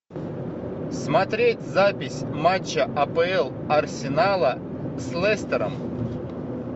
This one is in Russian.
смотреть запись матча апл арсенала с лестером